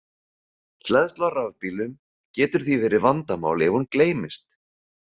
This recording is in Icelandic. Hleðsla á rafbílunum getur því verið vandamál ef hún gleymist.